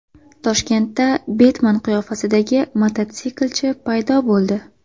Toshkentda Betmen qiyofasidagi mototsiklchi paydo bo‘ldi.